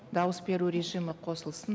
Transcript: дауыс беру режимі қосылсын